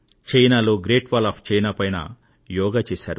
చైనాలో great wall of China పైన యోగా చేశారు